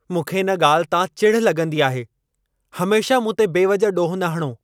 मूंखे इन ॻाल्हि तां चिढ़ लॻंदी आहे। हमेशह मूंते बेवजह ॾोह न हणो।